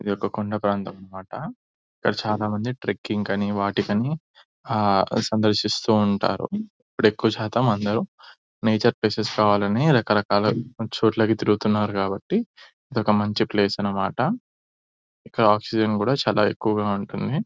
ఇది ఒక కొండ ప్రాంతం అనిమాట ఇక్కడ చాలా మంది ట్రిక్కింగ్ కానీ వాటి కని హా సందర్శిస్తూ ఉంటారు ఇప్పుడు ఎక్కువ శాతం అందరూ నేచుర్ కావాలని రకరకాల చోట్లకి తిరుగుతున్నారు కాబట్టి ఇదొక మంచి ప్లేస్ అనిమాట ఇక్కడ ఆక్సిజన్ కూడా చాలా ఎక్కువుగా ఉంటుంది .